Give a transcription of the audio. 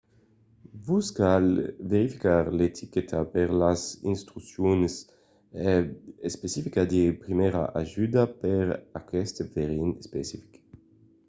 vos cal verificar l'etiqueta per las instruccions especificas de primièra ajuda per aqueste verin especific